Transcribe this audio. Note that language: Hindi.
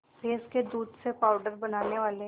भैंस के दूध से पावडर बनाने वाले